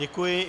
Děkuji.